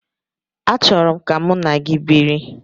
Achọrọ m ka mụ na gị biri.